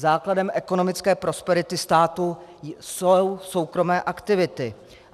Základem ekonomické prosperity státu jsou soukromé aktivity.